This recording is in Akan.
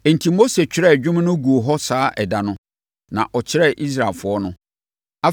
Enti, Mose twerɛɛ dwom no guu hɔ saa ɛda no, na ɔkyerɛɛ Israelfoɔ no.